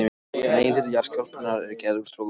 Meginhluti jarðskorpunnar er gerður úr storkubergi.